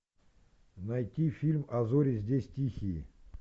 найти фильм а зори здесь тихие